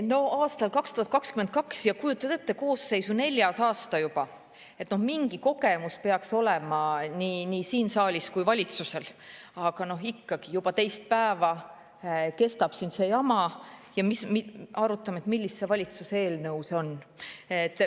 No aasta on 2022 ja kujutad ette, koosseisu neljas aasta juba – no mingi kogemus peaks olema nii siin saalis kui valitsusel, aga ikkagi juba teist päeva kestab siin see jama ja arutame, millise valitsuse eelnõu see on.